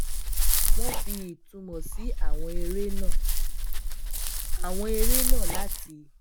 wọn fi itunmo si awon ere náà awon ere náà láti